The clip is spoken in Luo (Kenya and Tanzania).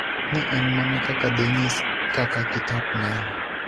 Ne en mana kaka de nyis kaka kitap ng'anyo.